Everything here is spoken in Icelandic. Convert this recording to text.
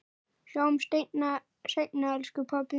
Sjáumst seinna elsku pabbi minn.